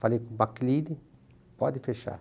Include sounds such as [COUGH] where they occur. Falei com o, [UNINTELLIGIBLE] pode fechar.